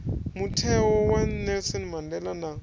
mutheo wa nelson mandela na